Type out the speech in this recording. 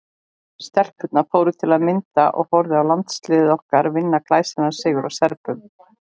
Stelpurnar fóru til að mynda og horfðu á landsliðið okkar vinna glæsilegan sigur á Serbum.